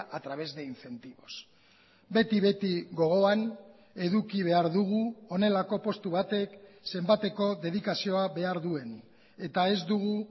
a través de incentivos beti beti gogoan eduki behar dugu honelako postu batek zenbateko dedikazioa behar duen eta ez dugu